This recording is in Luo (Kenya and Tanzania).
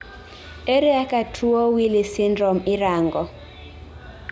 Ere kaka tuo Wili syndrome irango